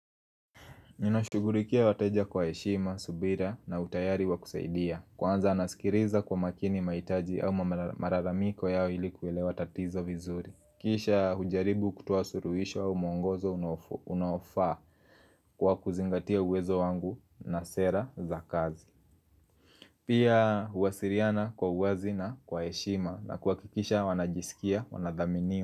Ninashugulikia wateja kwa heshima, subira na utayari wa kusaidia Kwanza naskiliza kwa makini maitaji au malalamiko yao ili kuwelewa tatizo vizuri Kisha hujaribu kutoa suluisho au muongozo unaofaa kwa kuzingatia uwezo wangu na sera za kazi Pia huasiliana kwa uwazi na kwa heshima na kuhakikisha wanajisikia wanadhaminiwa.